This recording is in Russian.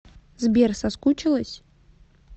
сбер соскучилась